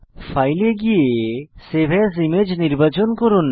file এ গিয়ে save as image নির্বাচন করুন